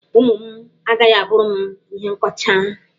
Ụmụ m agaghị a bụrụ m ihe nkọcha.